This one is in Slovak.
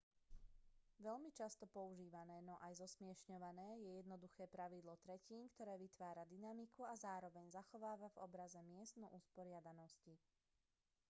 veľmi často používané no aj zosmiešňované je jednoduché pravidlo tretín ktoré vytvára dynamiku a zároveň zachováva v obraze mieru usporiadanosti